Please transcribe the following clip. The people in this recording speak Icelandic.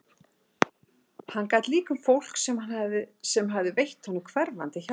Hann gat líka um fólk sem hafði veitt honum hverfandi hjálp.